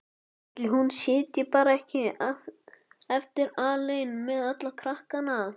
Ætli hún sitji bara ekki eftir alein með alla krakkana?